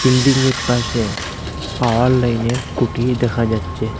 বিল্ডিংয়ের পাশে পাওয়ার লাইনের কুটি দেখা যাচ্ছে।